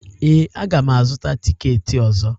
Ee, aga m azụta tikeeti ọzọ